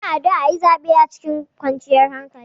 Muna addu'a aƴi zaɓe cikin kwanciyar hankali.